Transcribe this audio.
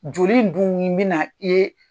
Joli in dun bɛ na i ye